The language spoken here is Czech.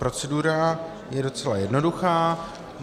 Procedura je docela jednoduchá.